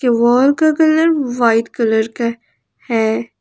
Wall का white colour का है।